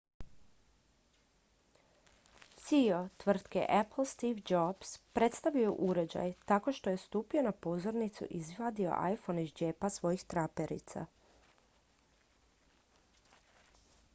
ceo tvrtke apple steve jobs predstavio je uređaj tako što je stupio na pozornicu i izvadio iphone iz džepa svojih traperica